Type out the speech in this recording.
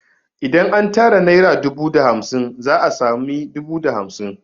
Idan an tara naira dubu da naira hamsin za a sami dubu da hamsin